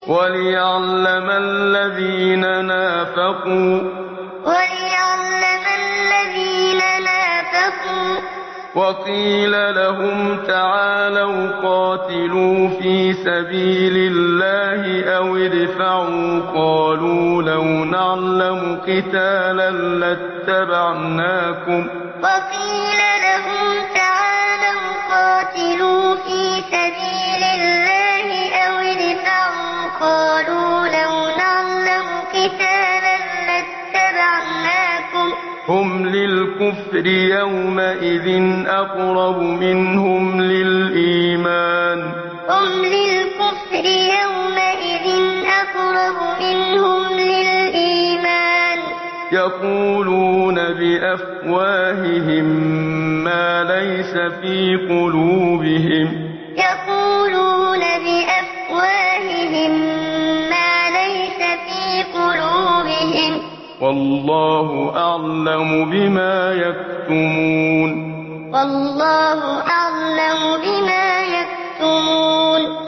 وَلِيَعْلَمَ الَّذِينَ نَافَقُوا ۚ وَقِيلَ لَهُمْ تَعَالَوْا قَاتِلُوا فِي سَبِيلِ اللَّهِ أَوِ ادْفَعُوا ۖ قَالُوا لَوْ نَعْلَمُ قِتَالًا لَّاتَّبَعْنَاكُمْ ۗ هُمْ لِلْكُفْرِ يَوْمَئِذٍ أَقْرَبُ مِنْهُمْ لِلْإِيمَانِ ۚ يَقُولُونَ بِأَفْوَاهِهِم مَّا لَيْسَ فِي قُلُوبِهِمْ ۗ وَاللَّهُ أَعْلَمُ بِمَا يَكْتُمُونَ وَلِيَعْلَمَ الَّذِينَ نَافَقُوا ۚ وَقِيلَ لَهُمْ تَعَالَوْا قَاتِلُوا فِي سَبِيلِ اللَّهِ أَوِ ادْفَعُوا ۖ قَالُوا لَوْ نَعْلَمُ قِتَالًا لَّاتَّبَعْنَاكُمْ ۗ هُمْ لِلْكُفْرِ يَوْمَئِذٍ أَقْرَبُ مِنْهُمْ لِلْإِيمَانِ ۚ يَقُولُونَ بِأَفْوَاهِهِم مَّا لَيْسَ فِي قُلُوبِهِمْ ۗ وَاللَّهُ أَعْلَمُ بِمَا يَكْتُمُونَ